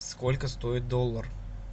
сколько стоит доллар